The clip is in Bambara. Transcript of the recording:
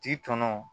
K'i tɔnɔ